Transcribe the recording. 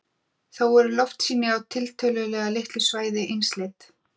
Þó eru loftsýni á tiltölulega litlu svæði einsleit.